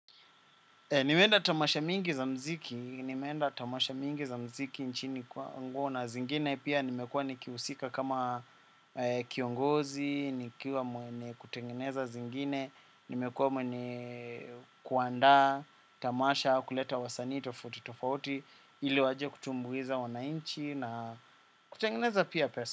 Nimeenda tamasha mingi za muziki nyingi za muziki nchini na zingine pia nimekuwa nikihusika kama kiongozi, nikiwa mwenye kutengeneza zingine, nimekuwa mwenye kuandaa tamasha kuleta wasanii tofauti tofauti ili waje kutumbuiza wananchi na kutengeneza pia pesa.